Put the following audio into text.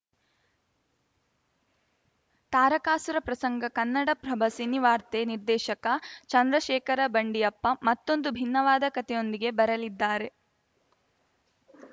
ತಾರಕಾಸುರ ಪ್ರಸಂಗ ಕನ್ನಡಪ್ರಭ ಸಿನಿವಾರ್ತೆ ನಿರ್ದೇಶಕ ಚಂದ್ರಶೇಖರ ಬಂಡಿಯಪ್ಪ ಮತ್ತೊಂದು ಭಿನ್ನವಾದ ಕತೆಯೊಂದಿಗೆ ಬರಲಿದ್ದಾರೆ